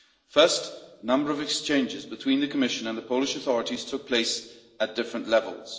First, a number of exchanges between the Commission and the Polish authorities took place at different levels.